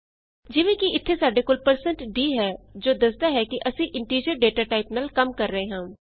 ਜਿਵੇਂ ਕਿ ਇਥੇ ਸਾਡੇ ਕੋਲ160d ਹੈ ਜੋ ਦੱਸਦਾ ਹੈ ਕਿ ਅਸੀਂ ਇੰਟੀਜ਼ਰ ਡਾਟਾ ਟਾਈਪ ਨਾਲ ਕੰਮ ਕਰ ਰਹੇ ਹਾਂ